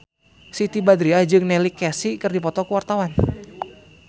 Siti Badriah jeung Neil Casey keur dipoto ku wartawan